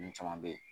Ninnu caman bɛ ye